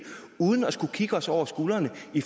uden at skulle kigge os over skulderen fordi